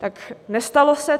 Tak nestalo se.